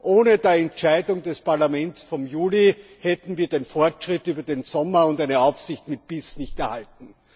Ohne die Entscheidung des Parlaments vom Juli hätten wir den Fortschritt über den Sommer und eine Aufsicht mit Biss nicht erhalten.